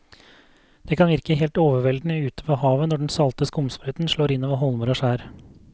Det kan virke helt overveldende ute ved havet når den salte skumsprøyten slår innover holmer og skjær.